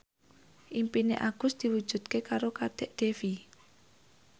impine Agus diwujudke karo Kadek Devi